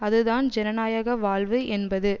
அதுதான் ஜனநாயக வாழ்வு என்பது